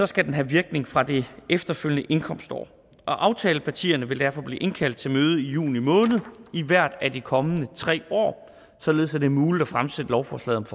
skal den have virkning fra det efterfølgende indkomstår aftalepartierne vil derfor blive indkaldt til møde i juni måned i hvert af de kommende tre år således at det er muligt at fremsætte lovforslaget